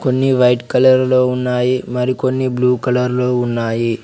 కొన్ని white colour లో ఉన్నాయి మరి కొన్ని బ్లూ కలర్ లో ఉన్నాయి.